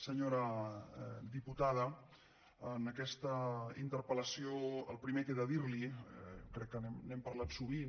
senyora diputada en aquesta interpellació el primer que he de dirli i crec que n’hem parlat sovint